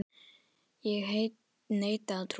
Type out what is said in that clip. Ég neita að trúa þessu.